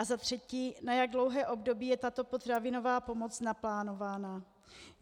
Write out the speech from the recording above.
A za třetí: Na jak dlouhé období je tato potravinová pomoc naplánována?